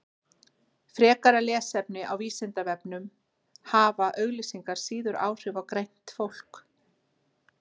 Frekara lesefni á Vísindavefnum Hafa auglýsingar síður áhrif á greint fólk?